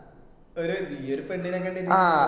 ഒരു നീ ഒരു പെണ്ണിനെ കണ്ടിട്ട് ആ